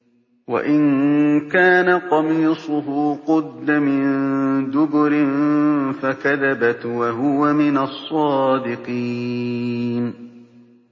وَإِن كَانَ قَمِيصُهُ قُدَّ مِن دُبُرٍ فَكَذَبَتْ وَهُوَ مِنَ الصَّادِقِينَ